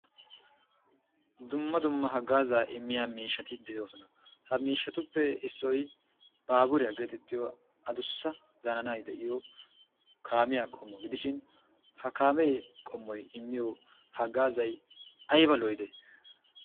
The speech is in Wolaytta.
Dumma dumma haggaazaa immiya miishshati de"oosona ha miishshatuppe issoy baaburiya geetettiya adussa zananay de"iyo kaamiya qommo gidishin ha kaamiya qommoy immiyo haggaazay ayba lo"idee?